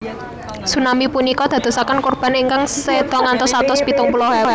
Tsunami punika dadosaken kurban ingkang seda ngantos satus pitung puluh ewu